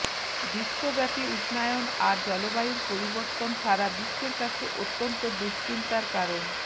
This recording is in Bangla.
বিশ্বব্যাপী উষ্ণায়ন আর জলবায়ুর পরিবর্তন সারা বিশ্বের কাছে অত্যন্ত দুশ্চিন্তার কারণ